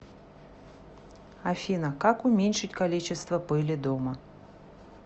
афина как уменьшить количество пыли дома